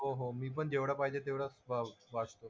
हो हो मी पण जेवढं पाहिजे तेवढंच वाचतो.